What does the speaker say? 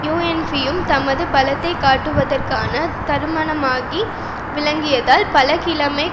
யூஎன்பியும் தமது பலத்தை காட்டுவதற்கான தருணமாக விளங்கியதால் பல கிழமைக்